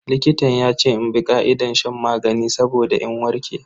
Likitan yace in bi ka'idar shan maganin saboda in warke.